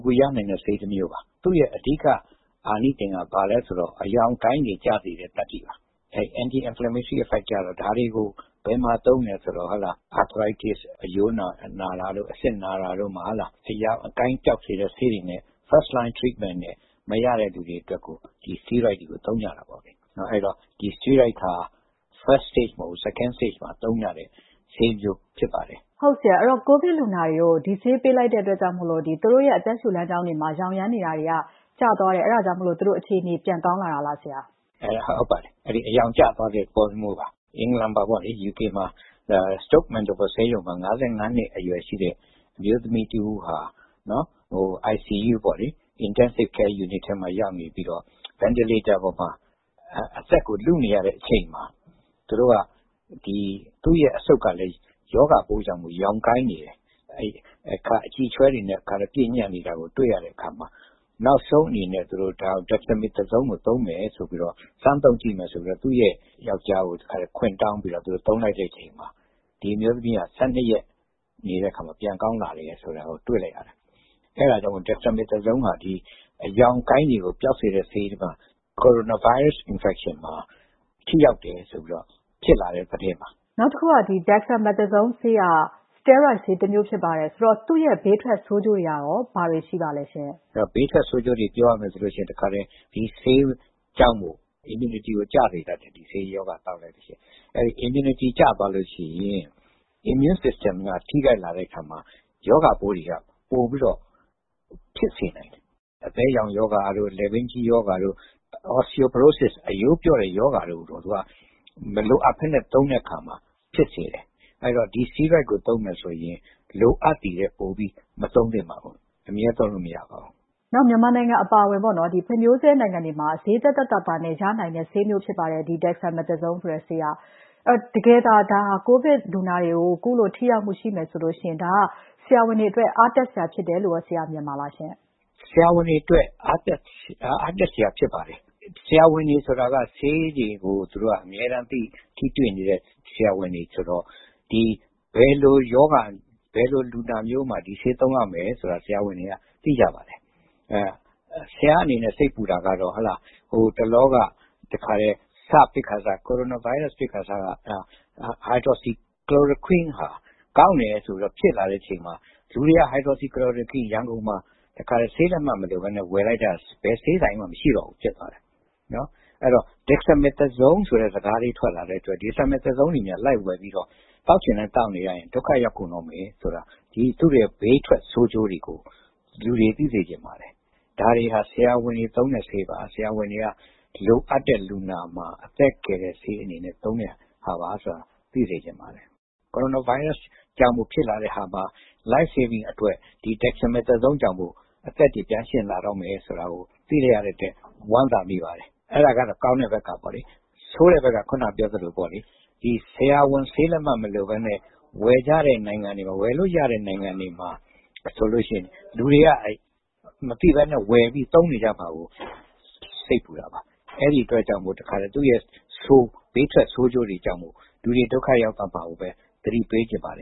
ကူရနိုင်တဲ့ ဆေးတမျိုးပါ ၊ သူ့ရဲ့ အဓိက အာနိသင်က ဘာလဲဆိုတော့ ရောင်ကိုင်းတာတွေကို ကျစေတာပါ ။ Anti inflammatory effects ကတော့ ဒါတွေကို ဘယ်မှာသုံးမလဲဆိုတော့ အရိုးနာတာတို့ အဆစ်နာတာတို့မှာ အရောင်အကိုင်း ပျောက်စေတဲ့ဆေးတွေနဲ့ First line treatment အနေနဲ့ မရတဲ့သူတွေအတွက်ကိုsteroid တွေကို သုံးကြတာပေါ့။ အဲဒီတော့ ဒီ steroid ဟာ First Stage မဟုတ်ဘူး ၊ Second Stage မှာသုံးကြတဲ့ဆေးမျိုးဖြစ်ပါတယ်။ ကိုဗစ်လူနာတွေကို ဒီဆေးပေးလိုက်လို့ အသက်ရူလမ်းကြောင်းမှာ ရောင်ရမ်းနေတာတွေ ကျသွားတဲ့အတွက် ပြန်အခြေအနေကောင်းတဲ့ သဘောဖြစ်တာပေါ့ဆရာ။ ဟုတ်ပါတယ် အရောင်ကျသွားတဲ့ သဘောမျိုးပါ။ UK မှာ ဆေးရုံမှာ အသက် ၅၅ နှစ်အရွယ် ရှိတဲ့ အမျိုးသမီးတဦးဟာ ICU မှာရောက်နေပြီးတော့ အသက်ရှုစက်ပေါ်မှာ အသက်ကို လုနေရတဲ့အချိန်မှာ သူ့အဆုပ်ကတော့ ရောဂါကြောင့်မို့လို့ ရောင်ကိုင်းနေတယ်။ အကျိအချွဲတွေနဲ့ ပြည့်နေတာကို တွေ့ရတဲ့အခါမှာ နောက်ဆုံးအနေနဲ့ Dexamethasone ကို စမ်းသုံးကြည့်မယ်ဆိုပြီးတော့ သူ့အမျိုးသားကို ခွင့်တောင်းပြီးတော့ သုံးလိုက်တဲ့အခါမှာ ဒီအမျိုးသမီးက ၁၂ ရက်နေတဲ့အခါမှာ ပြန်ကောင်းလာတယ်ဆိုတာကို တွေ့လိုက်ရတယ် အဲဒါကြောင့်မို့လို့ Dexamethasone ဟာ အရောင်အကိုင်းတွေကို ပျောက်စေတဲ့ဆေးမှာ Coronavirus infection မှာ ထိရောက်တယ်ဆိုပြီးတော့ ဖြစ်လာတဲ့သတင်းပါ။ နောက်တခုက Dexamethasone ဟာ steroid ဆေးတမျိုးဖြစ်ပါတယ်။ အဲဒီတော့ သူ့ဘေးထွက်ဆိုးကျိုးတွေကရော ဘာတွေရှိပါသလဲ။ ဘေးထွက်ဆိုးကျိုးတွေ ပြောရမယ်ဆိုရင် ဒီဆေးကြောင့် immunity ကို ကျစေတတ်တယ် immunity ကျသွားရင် immune System က ထိခိုက်လာတဲ့အခါမှာ ရောဂါပိုးတွေက ပိုပြီးတော့ ဖြစ်စေနိုင်တယ်။ အသဲရောင်ရောဂါတို့ လည်ပင်းကြီးရောဂါတို့ ၊ အရိုးပျော့ရောဂါတို့ မလိုအပ်ပဲနဲ့ သုံးရင် ဖြစ်စေတယ်။ အဲဒီတော့ ဒီ steroid ကို သုံးမယ်ဆိုရင် လိုအပ်သည်ထက်ပိုပြီး မသုံးသင့်ပါဘူး နောက် အမြဲသုံးလို့ မရပါဘူး။ မြန်မာနိုင်ငံအပါအဝင် ဖွံ့ဖြိုးဆဲနိုင်ငံတွေမှာ Dexamethasone ဆေးက ဈေးသက်သက်သာသာနဲ့ ရနိုင်တဲ့ ဆေးမျိုးဖြစ်ပါတယ်။ တကယ်လို့ COVID လူနာတွေကို ကုလို့ ထိရောက်မှုရှိမယ်ဆိုရင် ဆရာဝန်တွေအတွက် အားတက်စရာဖြစ်တယ်လို့ မြင်ပါသလား။ ဆရာဝန်တွေအတွက် အားတက်စရာဖြစ်ပါတယ်။ ဆရာဝန်တွေ ဆိုတာက ဆေးတွေကို အမြဲတမ်း ထိတွေ့နေတဲ့ ဆရာဝန်တွေဆိုတော့ ဘယ်လိုလူနာမျိုးမှာ ဒီဆေးသုံးရမယ်ဆိုတာ ဆရာဝန်တွေက သိပါတယ်။ ဆရာ့အနေနဲ့ စိတ်ပူတာက ဟိုတလောက ကိုရိုနာ စဖြစ်ခါစကHydroxychloroquine ဟာ ကောင်းတယ်လို့ ဖြစ်လာတဲ့အချိန်မှာ လူတွေက ရန်ကုန်မှာ hydroxychloroquine ကို ဆေးလက်မှတ်မလိုပဲနဲ့ ဝယ်လိုက်တာ ဘယ်ဆေးဆိုင်မှ မရှိတော့ဘူး ဖြစ်သွားတယ်။ အဲဒီတော့ Dexamethasone ဆိုတဲ့ စကားထွက်လာတော့ Dexamethasoneတွေလိုက်ဝယ်ပြီးတော့ သောက်ချင်တိုင်းသောက်နေရင် ဒုက္ခရောက်ကုန်မယ်ဆိုတော့ သူ့ဘေးထွက်ဆိုးကျိုးတွေကို လူတွေ သိစေချင်ပါတယ်။ ဒါတွေဟာ ဆရာဝန်တွေ သုံးတဲ့ဆေးပါ၊ ဆရာဝန်တွေက လိုအပ်တဲ့ လူနာမှာ အသက်ကယ်တဲ့အနေနဲ့ သုံးတဲ့ဆေးပါ ဆိုတာကို သိစေချင်ပါတယ်။ ကိုရိုနာဗိုင်းရစ်ကြောင့် ဖြစ်လာတဲ့ဟာမှာ Lifesaving အတွက် Dexamethasone ကြောင့် အသက်တွေ ပြန်ရှင်လာမယ်ဆိုတာကို သိလိုက်ရတဲ့အတွက် ဝမ်းသာမိပါတယ် အဲဒါကတော့ ကောင်းတဲ့ဘက်ကပေါ့လေ ။ ဆိုးတဲ့ဘက်ကတော့ ဆရာဝန်ဆေးလက်မှတ်မလိုပဲနဲ့ ဝယ်လို့ရတဲ့ နိုင်ငံတွေမှာဆိုရင် လူတွေက မသိပဲနဲ့ ဝယ်ပြီးသုံးနေမှာကို စိတ်ပူတာပါ အဲဒီအတွက်ကြောင့် သူ့ဘေးထွက်ဆိုးကျိုးတွေကြောင့် လူတွေ ဒုက္ခရောက်သွားမှာကိုပဲ သတိပေးချင်ပါတ